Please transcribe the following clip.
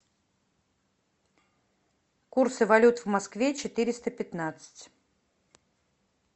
курсы валют в москве четыреста пятнадцать